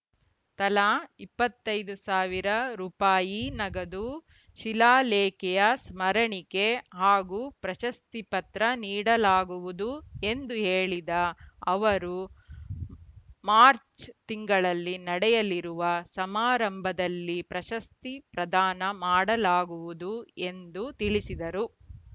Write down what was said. ತಲಾ ಇಪ್ಪತ್ತ್ ಐದು ಸಾವಿರ ರೂಪಾಯಿ ನಗದು ಶಿಲಾಲೇಖೆಯ ಸ್ಮರಣಿಕೆ ಹಾಗೂ ಪ್ರಶಸ್ತಿಪತ್ರ ನೀಡಲಾಗುವುದು ಎಂದು ಹೇಳಿದ ಅವರು ಮಾಚ್‌ರ್‍ ತಿಂಗಳಲ್ಲಿ ನಡೆಯಲಿರುವ ಸಮಾರಂಭದಲ್ಲಿ ಪ್ರಶಸ್ತಿ ಪ್ರದಾನ ಮಾಡಲಾಗುವುದು ಎಂದು ತಿಳಿಸಿದರು